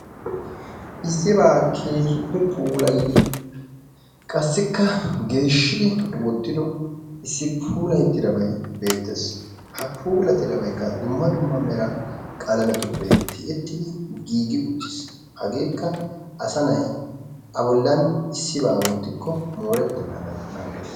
issibaa keehi puulayidi qassikka geshshi puulayido issi pulattidabay beetes. ha puulatidabaykka dumma dumma mera qalametun tiyettidi giigi uttiis. hageekka asa na'i a bolan issibaa wottikko mooretenaadan naagees.